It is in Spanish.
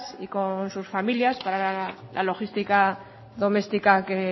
y con sus familias para la logística doméstica que